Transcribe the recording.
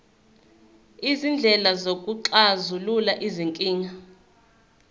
izindlela zokuxazulula izinkinga